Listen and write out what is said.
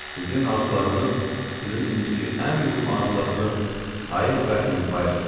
Sizin arzularınız sizin indiki ən mühüm arzularınız: Poker və İmper.